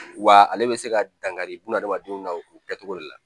Wa ale bɛ se ka dankari bun adamadenw na o kɛcogo de la